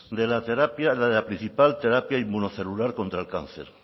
de la terapia de la principal terapia inmunocelular contra el cáncer